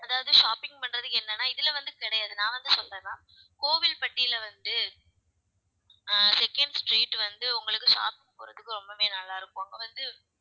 அதாவது shopping பண்றதுக்கு என்னன்னா இதுல வந்து கிடையாது நான் வந்து சொல்றேன்னா கோவில்பட்டியில வந்து அஹ் second street வந்து உங்களுக்கு சாப்பிடறதுக்கு ரொம்பவே நல்லா இருக்கும் அங்க வந்து